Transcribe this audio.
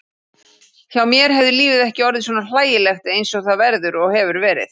Hjá mér hefði lífið ekki orðið svona hlægilegt einsog það verður og hefur verið.